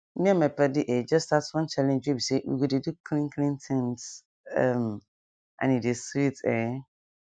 me and my padi um just start one challenge wey bi say we go dey do clean clean things um and e dey sweet ehn